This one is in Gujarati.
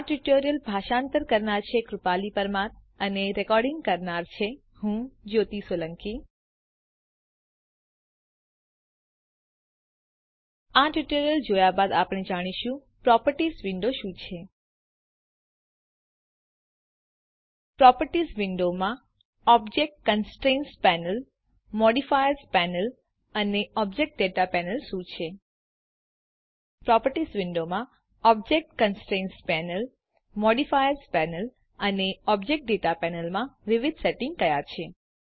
આ ટ્યુટોરીયલ જોયા બાદ આપણે જાણીશું પ્રોપર્ટીઝ વિન્ડો શું છે160 પ્રોપર્ટીઝ વિંડોમાં object constraints panel modifiers panel અને ઓબ્જેક્ટ દાતા પેનલ શું છે પ્રોપર્ટીઝ વિન્ડોમાં object constraints panel modifiers panel અને ઓબ્જેક્ટ દાતા પેનલ માં વિવિધ સેટિંગ્સ કયા છે